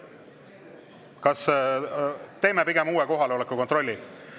Kas teeme uue kohaloleku kontrolli?